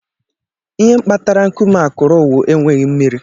Ihe kpatara nkume akụrụ wu enweghị mmiri.